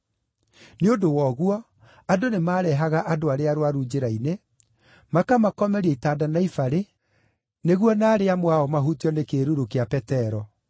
Nĩ ũndũ wa ũguo, andũ nĩmareehaga andũ arĩa arũaru njĩra-inĩ, makamakomeria itanda na ibarĩ, nĩguo naarĩ amwe ao mahutio nĩ kĩĩruru gĩa Petero.